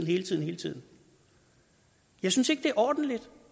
hele tiden hele tiden jeg synes ikke at det er ordentligt